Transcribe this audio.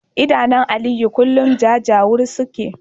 Idanun Aliyu kullum jajawur suke